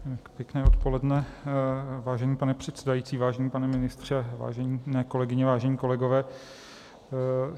Pěkné odpoledne, vážený pane předsedající, vážený pane ministře, vážené kolegyně, vážení kolegové.